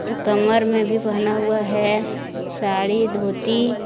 कमर में भी बंधा हुआ है साड़ी धोती।